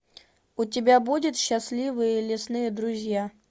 у тебя будет счастливые лесные друзья